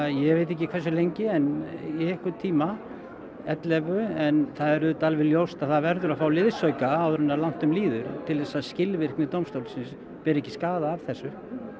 ég veit ekki hversu lengi en í einhvern tíma ellefu en það er auðvitað alveg ljóst að það verður að fá liðsauka áður en langt um líður til þess að skilvirkni dómstólsins beri ekki skaðann af þessu